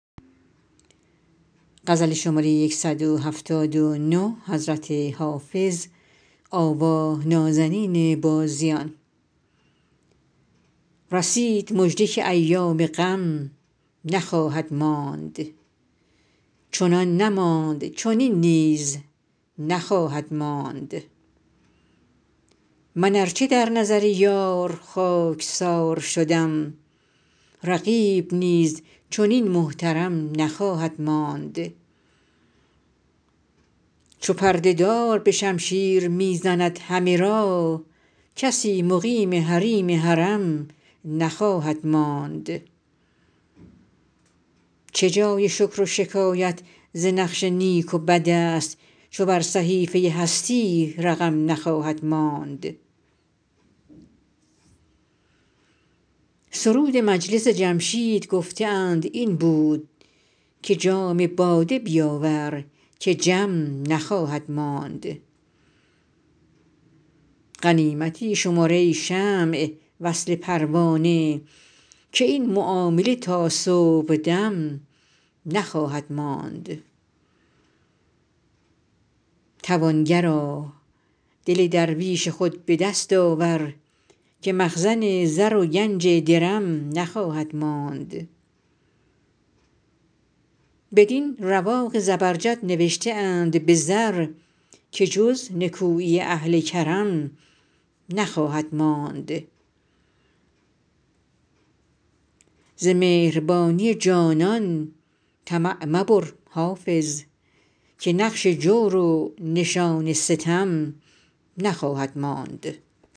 رسید مژده که ایام غم نخواهد ماند چنان نماند چنین نیز هم نخواهد ماند من ار چه در نظر یار خاک سار شدم رقیب نیز چنین محترم نخواهد ماند چو پرده دار به شمشیر می زند همه را کسی مقیم حریم حرم نخواهد ماند چه جای شکر و شکایت ز نقش نیک و بد است چو بر صحیفه هستی رقم نخواهد ماند سرود مجلس جمشید گفته اند این بود که جام باده بیاور که جم نخواهد ماند غنیمتی شمر ای شمع وصل پروانه که این معامله تا صبح دم نخواهد ماند توانگرا دل درویش خود به دست آور که مخزن زر و گنج درم نخواهد ماند بدین رواق زبرجد نوشته اند به زر که جز نکویی اهل کرم نخواهد ماند ز مهربانی جانان طمع مبر حافظ که نقش جور و نشان ستم نخواهد ماند